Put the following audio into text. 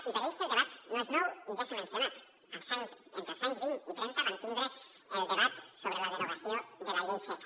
i per a ells el debat no és nou i ja s’ha mencionat entre els anys vint i trenta van tindre el debat sobre la derogació de la llei seca